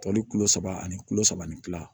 Tɔli kilo saba ani kulo saba ni fila